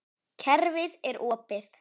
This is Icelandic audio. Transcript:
Kerfið er opið.